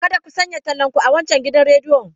Kada ku sanya tallanku a wancan gidan rediyon.